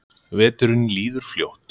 Veturinn líður fljótt.